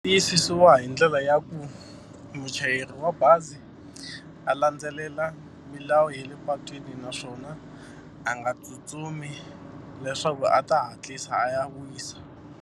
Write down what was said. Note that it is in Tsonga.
Tiyisisiwa hi ndlela ya ku muchayeri wa bazi a landzelela milawu ya le patwini naswona a nga tsutsumi leswaku a ta hatlisa a ya wisa.